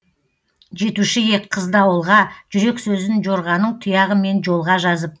жетуші ек қызды ауылға жүрек сөзін жорғаның тұяғымен жолға жазып